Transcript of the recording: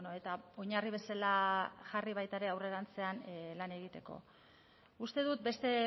eta oinarri bezala jarri baita ere aurrerantzean lan egiteko uste dut beste